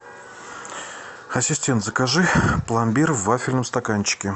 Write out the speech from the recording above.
ассистент закажи пломбир в вафельном стаканчике